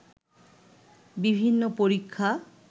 বিভিন্ন পরীক্ষা